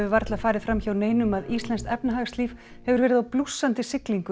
varla farið fram hjá neinum að íslenskt efnahagslíf hefur verið á blússandi siglingu